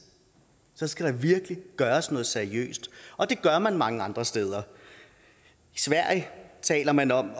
så skal der virkelig gøres noget seriøst og det gør man mange andre steder i sverige taler man om